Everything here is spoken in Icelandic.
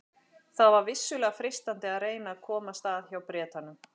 Það var vissulega freistandi að reyna að komast að hjá Bretanum.